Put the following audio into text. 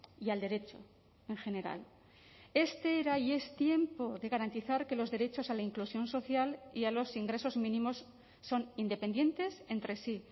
y al derecho en general este era y es tiempo de garantizar que los derechos a la inclusión social y a los ingresos mínimos son independientes entre sí